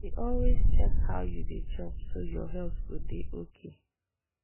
you dey always check how you dey chop so your health go dey okay.